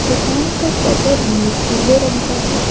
दुकान का शटर पीले रंग का है।